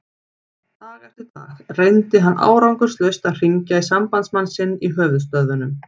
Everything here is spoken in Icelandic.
Dag eftir dag reyndi hann árangurslaust að hringja í sambandsmann sinn í höfuðstöðvum